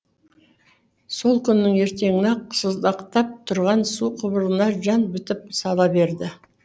сол күннің ертеңіне ақ сыздықтап тұрған су құбырына жан бітіп сала берді